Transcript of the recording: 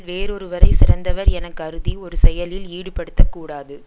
வேறொருவரைச் சிறந்தவர் என கருதி ஒரு செயலில் ஈடுபடுத்த கூடாது